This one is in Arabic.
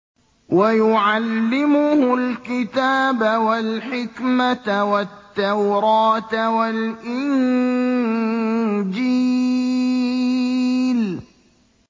وَيُعَلِّمُهُ الْكِتَابَ وَالْحِكْمَةَ وَالتَّوْرَاةَ وَالْإِنجِيلَ